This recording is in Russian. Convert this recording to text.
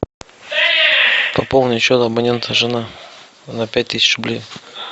пополнить счет абонента жена на пять тысяч рублей